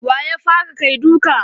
Wa ya fara kai duka?